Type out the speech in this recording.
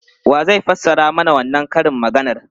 Wa zai fassara mana wannan karin maganar?